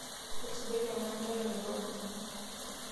Eisujaki enanka eton irobi.